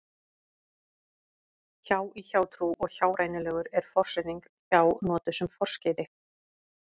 hjá í hjátrú og hjárænulegur er forsetningin hjá notuð sem forskeyti